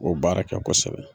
O baara kɛ kosɛbɛ